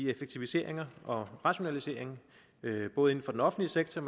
effektiviseringer og rationaliseringer både inden for den offentlige sektor